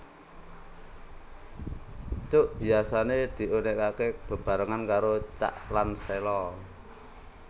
Cuk biasané diunèkaké bebarengan karo cak lan sèlo